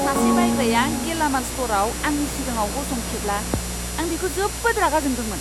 सासे बायग्राया गेलामाल स्ट'रआव आंनि सिगाङाव गसंथेब्ला आं बिखौ जोबोद रागा जोंदोंमोन!